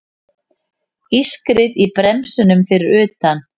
Ískrið í bremsunum fyrir utan.